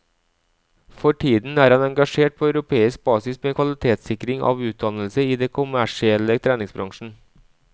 For tiden er han engasjert på europeisk basis med kvalitetssikring av utdannelse i den kommersielle treningsbransjen.